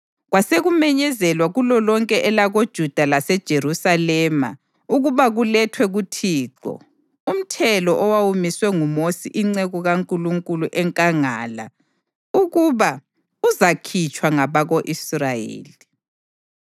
Kwasekumenyezelwa kulolonke elakoJuda laseJerusalema ukuba kulethwe kuThixo, umthelo owawumiswe nguMosi inceku kaNkulunkulu enkangala ukuba uzakhitshwa ngabako-Israyeli.